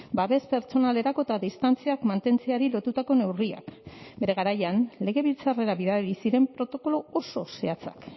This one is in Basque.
babes pertsonalerako eta distantziak mantentzeari lotutako neurriak bere garaian legebiltzarrera bidali ziren protokolo oso zehatzak